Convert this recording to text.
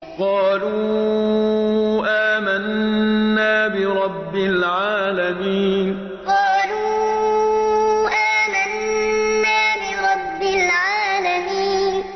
قَالُوا آمَنَّا بِرَبِّ الْعَالَمِينَ قَالُوا آمَنَّا بِرَبِّ الْعَالَمِينَ